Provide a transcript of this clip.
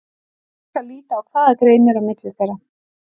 Nú skal líta á hvað greinir á milli þeirra.